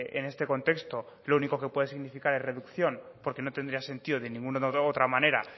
en este contexto lo único que puede significar es reducción porque no tendría sentido de ninguna otra manera